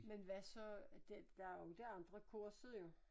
Men hvad så det der er jo ikke andre kurset jo